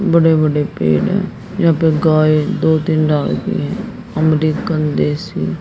बड़े बड़े पेड़ है यहां पे गाय दो तीन है अमरीकन देसी--